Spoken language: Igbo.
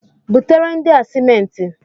Butere ndị a simenti!